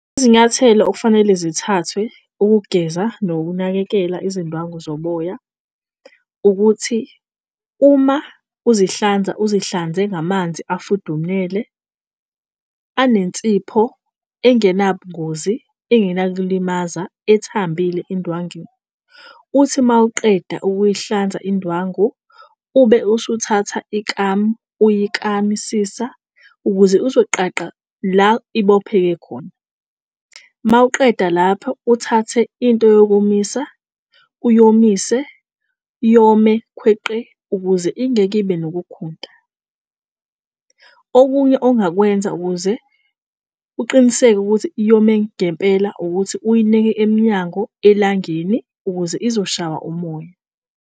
Izinyathelo okufanele zithathwe ukugeza nokunakekela izindwangu zomoya ukuthi uma uzihlanza uzihlanze ngamanzi, afudumele anensipho engena bungozi. Engenakulimaza ethambile endwangini uthi mawuqeda ukuyihlanza indwangu ube usuthatha ikamu uyikamisisa ukuze azoqaqa la ibopheke khona. Mawuqeda lapho uthathe into yokomisa uyomise yome khweqe ukuze ingeke ibe nokukhunta. Okunye ongakwenza ukuze uqiniseke ukuthi yome ngempela ukuthi uyineke emnyango elangeni ukuze izoshawa umoya.